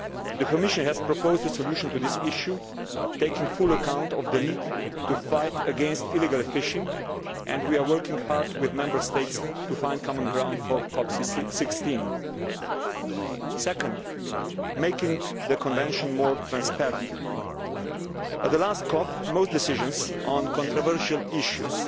The Commission has proposed a solution to this issue, taking full account of the need to fight against illegal fishing, and we are working hard with Member States to find common ground for COP 16. Second, making the Convention more transparent. At the last COP, most decisions on controversial